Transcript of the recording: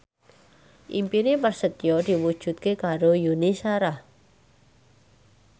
impine Prasetyo diwujudke karo Yuni Shara